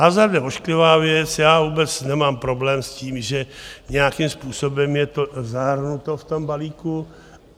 Hazard je ošklivá věc, já vůbec nemám problém s tím, že nějakým způsobem je to zahrnuto v tom balíku.